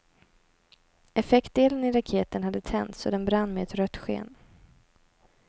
Effektdelen i raketen hade tänts och den brann med ett rött sken.